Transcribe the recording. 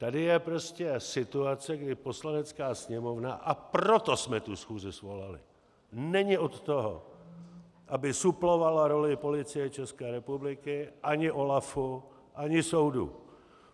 Tady je prostě situace, kdy Poslanecká sněmovna, a proto jsme tu schůzi svolali, není od toho, aby suplovala roli Policie České republiky ani OLAFu ani soudu.